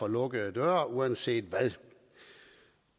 lukkede døre uanset hvad